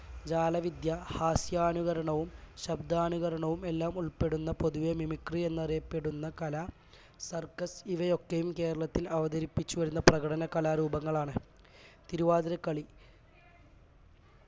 ജാലവിദ്യ ഹാസ്യാനുകരണവും ശബ്ദാനുകരണവും എല്ലാം ഉൾപ്പെടുന്ന പൊതുവെ mimi എന്നറിയപ്പെടുന്ന കല circus ഇവയൊക്കെയും കേരളത്തിൽ അവതരിപ്പിച്ചുവരുന്ന പ്രകടന കലാരൂപങ്ങളാണ് തിരുവാതിരക്കളി